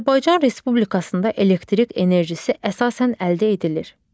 Azərbaycan Respublikasında elektrik enerjisi əsasən əldə edilir: